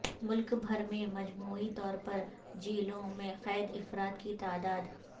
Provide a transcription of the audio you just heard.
ملک بھر میں مجموعی طور پر جیلوں میں قید افراد کی تعداد